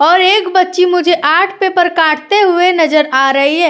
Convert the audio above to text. और एक बच्ची मुझे आर्ट पेपर काटते हुए नजर आ रही है।